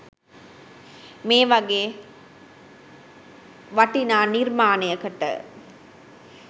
මේ වගේ වටිනා නිර්මාණයකට